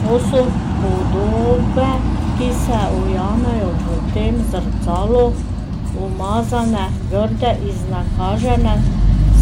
Ko so podobe, ki se ujamejo v tem zrcalu, umazane, grde, iznakažene,